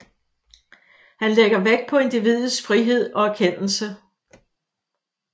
Han lægger vægt på individets frihed og erkendelse